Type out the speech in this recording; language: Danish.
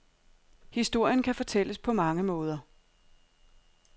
Historien kan fortælles på mange måder.